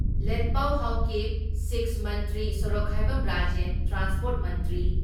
ꯂꯦꯠꯄꯥꯎ ꯍꯥꯎꯀꯤꯞ, ꯁꯤꯛꯁ ꯃꯟꯇ꯭ꯔꯤ ꯁꯣꯔꯣꯛꯈꯥꯏꯕꯝ ꯔꯥꯖꯦꯟ, ꯇ꯭ꯔꯥꯟꯁꯄꯣꯔꯠ ꯃꯟꯇ꯭ꯔꯤ